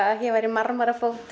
að hér væri